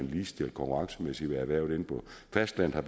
ligestillet konkurrencemæssigt med erhvervet inde på fastlandet og